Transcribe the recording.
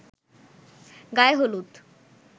গায়ে হলুদ